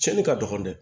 Cɛnni ka dɔgɔn dɛ